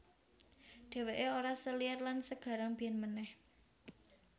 Dhewekè ora seliar lan segarang biyen manèh